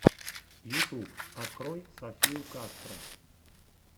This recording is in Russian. ютуб открой софию кастро